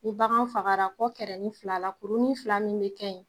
Ni bagan fagara kɔ kɛrɛnin fila la kurunin fila min bɛ kɛ yen